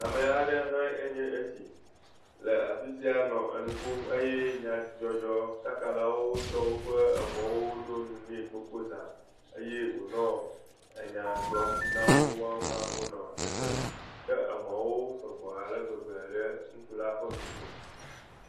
Ame aɖe hã enye esi le afisia nɔ enu ƒom eye anyadzɔdzɔkakalawo ɖo woƒe emɔwo ne gbogbo zã eye wonɔ ena gblɔm nawò hã wonɔ sesem ke emɔ sɔgbɔ ale gbegbe le ŋutsula ƒe ŋkume.